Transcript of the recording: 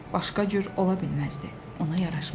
Başqa cür ola bilməzdi, ona yaraşmazdı.